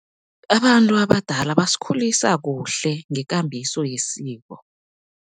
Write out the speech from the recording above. Abantu abadala basikhulisa kuhle ngekambiso yesiko.